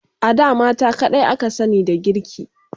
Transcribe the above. A da mata kadai aka sani da girki